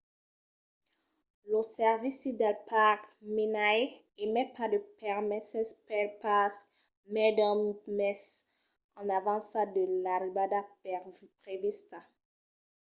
lo servici del parc minae emet pas de permeses pel parc mai d'un mes en avança de l'arribada prevista